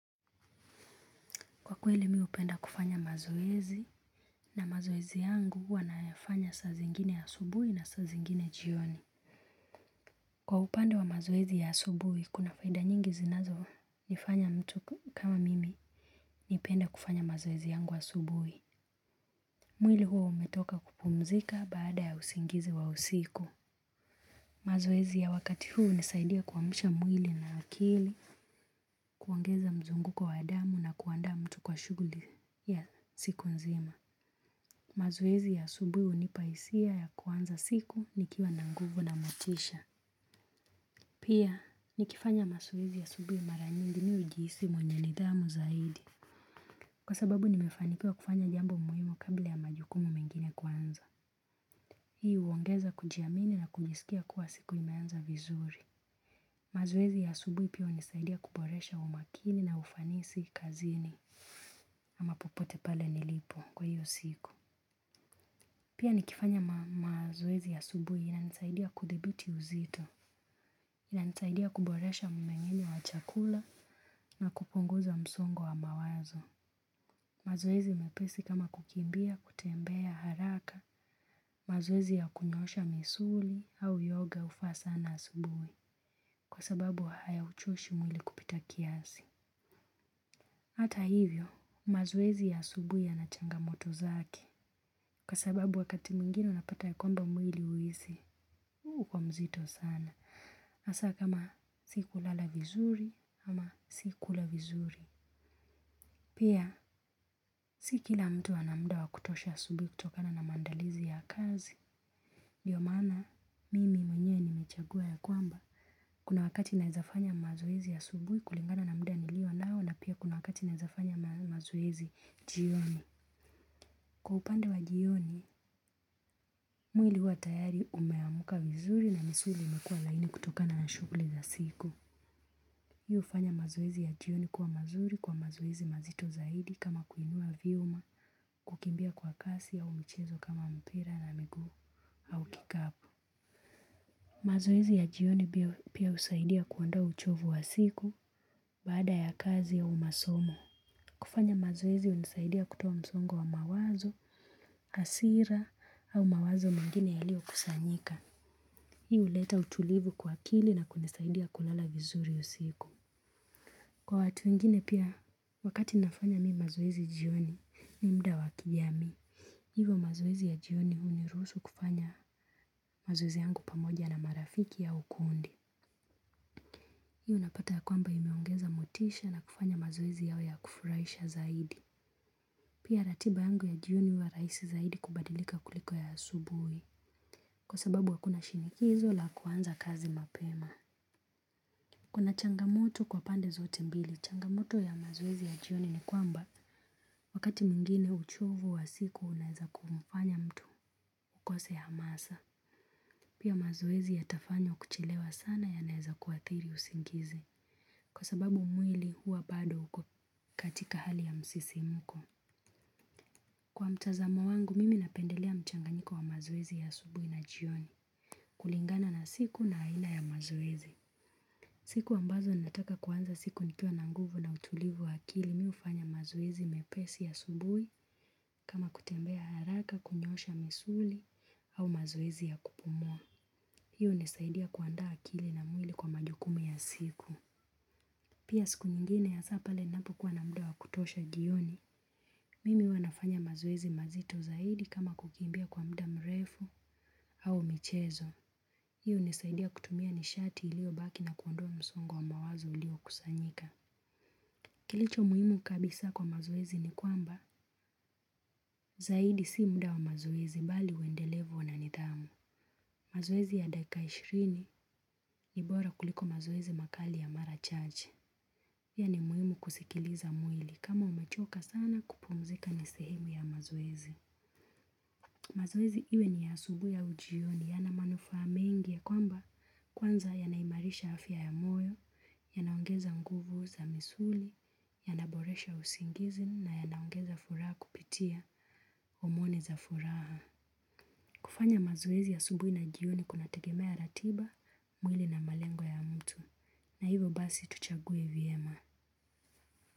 Kwa kweli mi hupenda kufanya mazoezi na mazoezi yangu huwa nayafanya saa zingine asubui na saa zingine jioni. Kwa upande wa mazoezi ya asubuhi, kuna faida nyingi zinazo nifanya mtu kama mimi nipende kufanya mazoezi yangu asubui. Mwili huwa umetoka kupumzika baada ya usingizi wa usiku. Mazoezi ya wakati huu hunisaidia kuamsha mwili na akili, kuongeza mzunguko wa damu na kuandaa mtu kwa shughuli ya siku nzima. Mazoezi ya asubuhi hunipa hisia ya kuanza siku nikiwa na nguvu na motisha. Pia, nikifanya mazoezi asubuhi mara nyingi mi hujihisi mwenye nidhamu zaidi kwa sababu nimefanikiwa kufanya jambo muhimu kabla ya majukumu mengine kuanza. Hii huongeza kujiamini na kujisikia kuwa siku imeanza vizuri. Mazoezi ya asubuhi pia hunisaidia kuboresha umakini na ufanisi kazini. Ama popote pale nilipo kwa hiyo siku. Pia nikifanya mazoezi asubuhi inanisaidia kudhibiti uzito, inanisaidia kuboresha mmeng'enyo wa chakula na kupunguza msongo wa mawazo. Mazoezi mepesi kama kukimbia, kutembea, haraka, mazoezi ya kunyoosha misuli au yoga hufaa sana asubuhi kwa sababu hayauchoshi mwili kupita kiasi. Hata hivyo, mazoezi ya asubuhi yana changamoto zake, kwa sababu wakati mwingine unapata ya kwamba mwili huhisi, uuko mzito sana. Hasa kama sikulala vizuri, ama sikula vizuri. Pia, si kila mtu ana muda wa kutosha ya asubuhi kutokana na maandalizi ya kazi. Ndio maana, mimi mwenyewe nimechagua ya kwamba, kuna wakati naezafanya mazoezi asubuhi kulingana na muda nilio nao, na pia kuna wakati naezafanya mazoezi jioni. Kwa upande wa jioni, mwili huwa tayari umeamuka vizuri na misuli imekuwa laini kutokana na shughuli za siku. Hii hufanya mazoezi ya jioni kuwa mazuri kwa mazoezi mazito zaidi kama kuinua vyuma kukimbia kwa kasi au michezo kama mpira na miguu au kikapu. Mazoezi ya jioni pia husaidia kuondoa uchovu wa siku baada ya kazi au masomo. Kufanya mazoezi hunisaidia kutoa msongo wa mawazo hasira au mawazo mengine yalio kusanyika. Hii huleta utulivu kwa akili na kunisaidia kulala vizuri usiku. Kwa watu wengine pia wakati nafanya mi mazoezi jioni ni muda wa kijamii. Hivo mazoezi ya jioni uniruhusu kufanya mazoezi yangu pamoja na marafiki au u kundi. Hii unapata ya kwamba imeongeza motisha na kufanya mazoezi yao yawe ya kufurahisha zaidi. Pia ratiba yangu ya jioni huwa rahisi zaidi kubadilika kuliko ya asubuhi. Kwa sababu hakuna shinikizo la kuanza kazi mapema. Kuna changamoto kwa pande zote mbili. Changamoto ya mazoezi ya jioni ni kwamba wakati mwingine uchovu wa siku unaeza kumfanya mtu ukose hamasa. Pia mazoezi yatafanywa kuchelewa sana yanaweza kuathiri usingizi. Kwa sababu mwili huwa bado uko katika hali ya msisimuko. Kwa mtazamo wangu mimi napendelea mchanganyiko wa mazoezi ya asubuhi na jioni. Kulingana na siku na aina ya mazoezi. Siku ambazo nataka kuanza siku nikiwa na nguvu na utulivu wa akili mi hufanya mazoezi mepesi asubuhi kama kutembea haraka kunyoosha misuli au mazoezi ya kupumua. Hii hunisaidia kuandaa akili na mwili kwa majukumu ya siku. Pia siku nyingine hasa pale napokuwa na muda wa kutosha jioni. Mimi huwa nafanya mazoezi mazito zaidi kama kukimbia kwa mda mrefu au michezo. Hii hunisaidia kutumia nishati ilio baki na kuondoa msongo wa mawazo ulio kusanyika. Kilicho muhimu kabisa kwa mazoezi ni kwamba zaidi si muda wa mazoezi bali uendelevu na nidhamu. Mazoezi ya daika ishirini ni bora kuliko mazoezi makali ya Mara Chache. Pia ni muhimu kusikiliza mwili kama umechoka sana kupumzika ni sehemu ya mazoezi. Mazoezi iwe ni yaasubuhi au jioni yana manufaa mengi ya kwamba kwanza yanaimarisha afya ya moyo, yanaongeza nguvu za misuli, yanaboresha usingizi na yanaongeza furaha kupitia, homoni za furaha. Kufanya mazoezi asubuhi na jioni kunategemea ratiba. Mwili na malengo ya mtu. Na hivo basi tuchaguwe vyema.